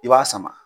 I b'a sama